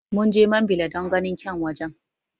Munje mambila don ganin kyan wajen